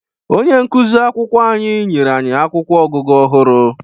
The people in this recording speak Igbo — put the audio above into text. Onye nkụzi akwụkwọ anyị nyere anyị akwụkwọ ọgụgụ ọhụrụ.